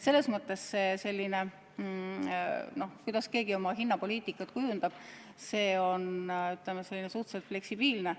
Selles mõttes on see, kuidas keegi oma hinnapoliitikat kujundab, ütleme, suhteliselt fleksibiilne.